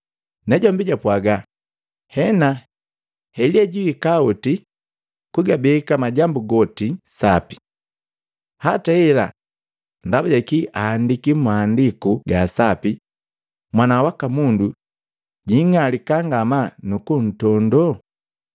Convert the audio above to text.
Najombi japwaaga, “Hena, Elia jwiika oti kugabeka majambu goti sapi. Hata hela ndaba jakii aandiki Mmaandiku ga Sapi, Mwana waka Mundu jwing'alika ngamaa nu kuntondo?